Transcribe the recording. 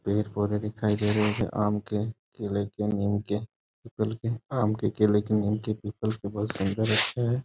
पेड़-पौधे दिखाई दे रहे हैं आम के केले के नीम के पीपल के आम के केले के पीपल के बहुत सुन्दर अच्छा है।